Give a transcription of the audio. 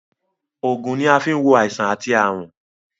Ògùn ni a fi ń wo àìsàn àti àrùn